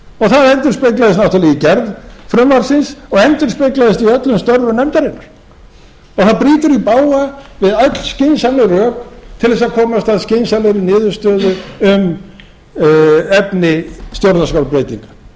það endurspeglaðist náttúrlega í gerð frumvarpsins og endurspeglaðist í öllum störfum nefndarinnar það brýtur í bága við öll skynsamleg rök til þess að komast að skynsamlegri niðurstöðu um efni stjórnarskrárbreytinga brýtur